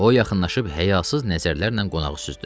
O yaxınlaşıb həyasız nəzərlərlə qonağı süzdü.